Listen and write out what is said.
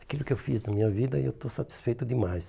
Aquilo que eu fiz na minha vida, eu estou satisfeito demais.